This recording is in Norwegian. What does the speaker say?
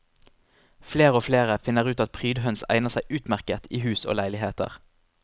Flere og flere finner ut at prydhøns egner seg utmerket i hus og leiligheter.